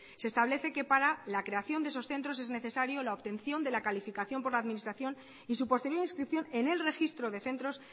se establece que para la creación de esos centros es necesario la obtención de la calificación por la administración y su posterior inscripción en el registro de centros